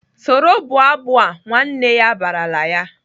"Soro bụọ abụ a!" Nwanne ya barala ya!